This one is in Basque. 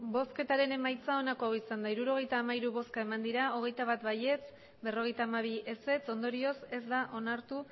emandako botoak hirurogeita hamairu bai hogeita bat ez berrogeita hamabi ondorioz ez da onartu